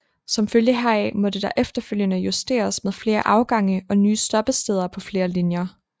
Som følge heraf måtte der efterfølgende justeres med flere afgange og nye stoppesteder på flere linjer